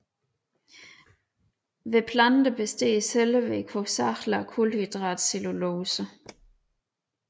Hos planter består cellevæggen hovedsagelig af kulhydratet cellulose